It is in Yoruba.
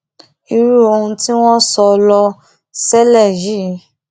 irú ohun tí wọn sọ ló ṣẹlẹ yìí